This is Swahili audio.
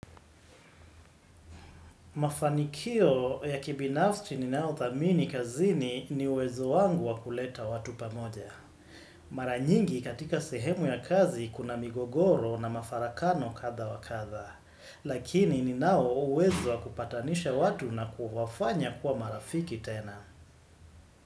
Mafanikio ya kibinafsti ni nao thamini kazini ni uwezo wangu wakuleta watu pamoja. Maranyingi katika sehemu ya kazi kuna migogoro na mafarakano katha wakatha. Lakini ninao uwezo wakupatanisha watu na kuhafanya kuwa marafiki tena.